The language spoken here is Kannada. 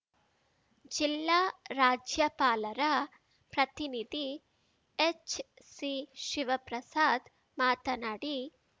ಜಿಲ್ಲಾ ರಾಜ್ಯಪಾಲರ ಪ್ರತಿನಿಧಿ ಎಚ್‌ಸಿಶಿವಪ್ರಸಾದ್‌ ಮಾತನಾಡಿ